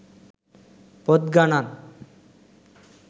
පොත් ගණන්.